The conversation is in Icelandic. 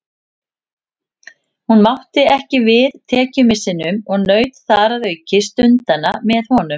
Hún mátti ekki við tekjumissinum og naut þar að auki stundanna með honum.